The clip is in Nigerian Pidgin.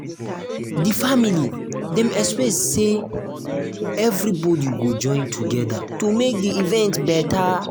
di family dem expect say expect say everybody go join together to make di event better.